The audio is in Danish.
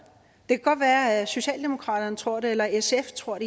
kan godt være at socialdemokraterne tror det eller sf tror